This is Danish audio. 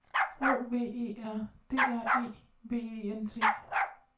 O V E R D R E V E N T